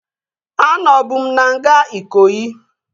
Anọbu m na nga Ikoyi